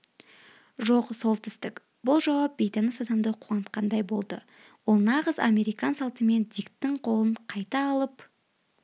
жоқ солтүстік бұл жауап бейтаныс адамды қуантқандай болды ол нағыз американ салтымен диктің қолын қайта алып